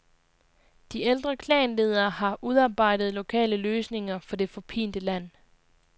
De ældre klanledere har udarbejdet lokale løsninger for det forpinte land.